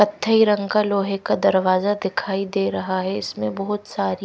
कथाई रंग का लोहे का दरवाजा दिखाई दे रहा है इसमें बहुत सारी--